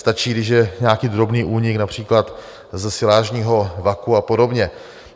Stačí, když je nějaký drobný únik, například ze silážního vaku a podobně.